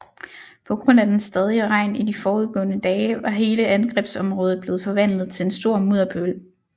På grund af den stadige regn i de forudgående dage var hele angrebsområdet blevet forvandlet til en stor mudderpøl